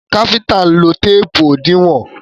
Káfíntà ń lo téèpù òdiwọ́n.